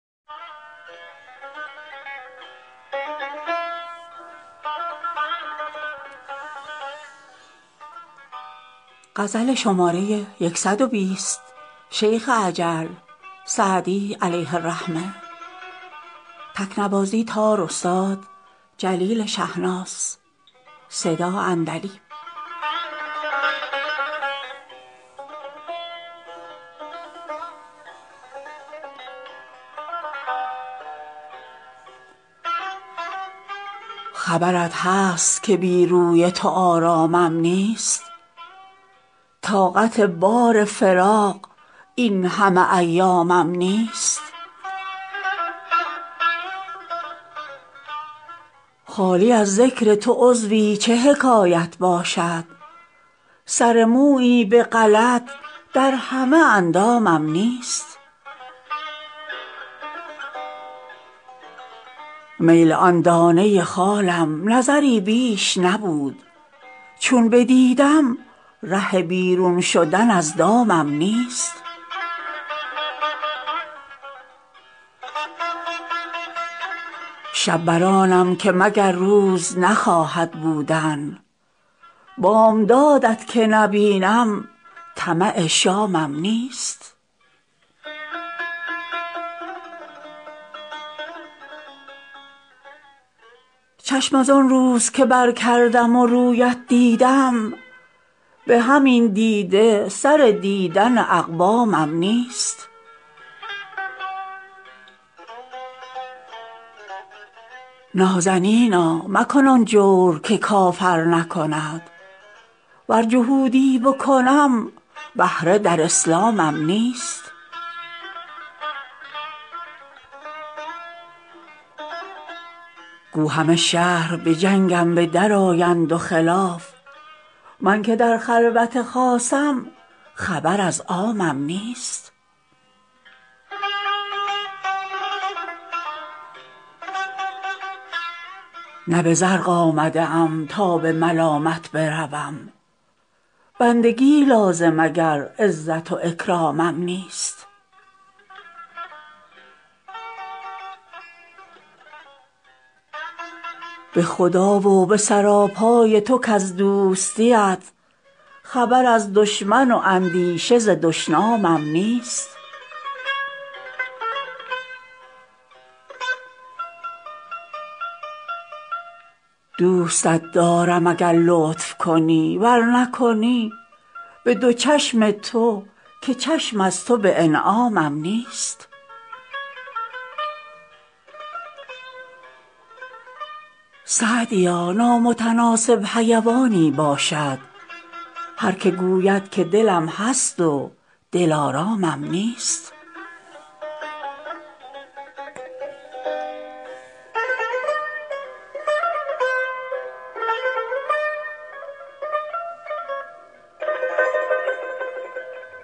خبرت هست که بی روی تو آرامم نیست طاقت بار فراق این همه ایامم نیست خالی از ذکر تو عضوی چه حکایت باشد سر مویی به غلط در همه اندامم نیست میل آن دانه خالم نظری بیش نبود چون بدیدم ره بیرون شدن از دامم نیست شب بر آنم که مگر روز نخواهد بودن بامداد ت که نبینم طمع شامم نیست چشم از آن روز که برکردم و روی ات دیدم به همین دیده سر دیدن اقوامم نیست نازنینا مکن آن جور که کافر نکند ور جهودی بکنم بهره در اسلامم نیست گو همه شهر به جنگم به درآیند و خلاف من که در خلوت خاصم خبر از عامم نیست نه به زرق آمده ام تا به ملامت بروم بندگی لازم اگر عزت و اکرامم نیست به خدا و به سراپای تو کز دوستی ات خبر از دشمن و اندیشه ز دشنامم نیست دوستت دارم اگر لطف کنی ور نکنی به دو چشم تو که چشم از تو به انعامم نیست سعدیا نامتناسب حیوانی باشد هر که گوید که دلم هست و دلآرامم نیست